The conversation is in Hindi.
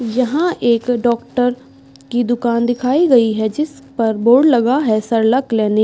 यहां एक डॉक्टर की दुकान दिखाई गई है जिस पर बोर्ड लगा है सरला क्लीनिक ।